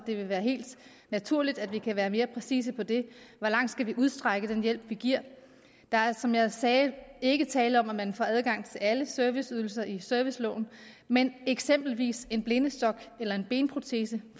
vil være helt naturligt at vi kan være mere præcise med det hvor langt skal vi udstrække den hjælp vi giver der er som jeg sagde ikke tale om at man får adgang til alle serviceydelser i serviceloven men eksempelvis en blindestok eller en benprotese